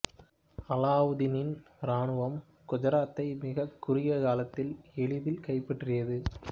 அலாவுதீனின் இராணுவம் குஜராத்தை மிகக் குறுகிய காலத்தில் எளிதில் கைப்பற்றியது